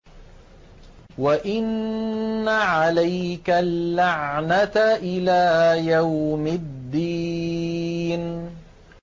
وَإِنَّ عَلَيْكَ اللَّعْنَةَ إِلَىٰ يَوْمِ الدِّينِ